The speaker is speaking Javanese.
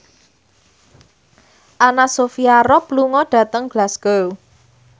Anna Sophia Robb lunga dhateng Glasgow